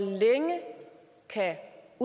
at